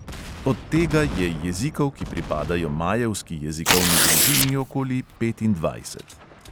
Od tega je jezikov, ki pripadajo majevski jezikovni družini, okoli petindvajset.